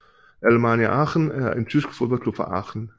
Alemannia Aachen er en tysk fodboldklub fra Aachen